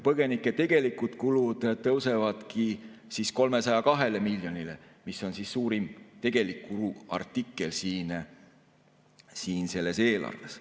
Tegelikud kulutused põgenikele tõusevad 302 miljonile, mis on suurim kuluartikkel selles eelarves.